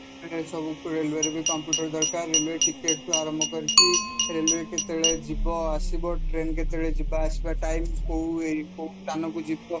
ଏସବୁ railway ରେ computer ଦରକାର relay ticket ଠୁ ଆରମ୍ଭ କରି railway କେତେବେଳେ ଯିବା ଆସିବା ଟ୍ରେନ କେତେବେଳେ ଯିବା ଆସିବା time କୋଉ କୋଉ ସ୍ଥାନକୁ ଯିବା